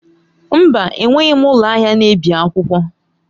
Mba! Enweghị m ụlọ ahịa na-ebi akwụkwọ.